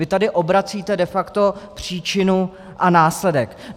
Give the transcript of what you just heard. Vy tady obracíte de facto příčinu a následek.